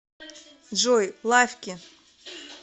джой лаффки